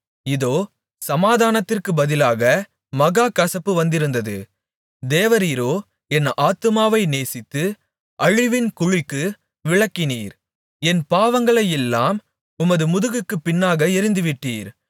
இதோ சமாதானத்திற்குப் பதிலாக மகா கசப்பு வந்திருந்தது தேவரீரோ என் ஆத்துமாவை நேசித்து அழிவின் குழிக்கு விலக்கினீர் என் பாவங்களையெல்லாம் உமது முதுகுக்குப் பின்னாக எறிந்துவிட்டீர்